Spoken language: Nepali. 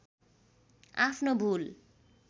आफ्नो भूल